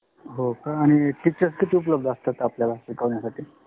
होका आणि Teachers किती उपलब्ध आसातात शिकवण्यासाठी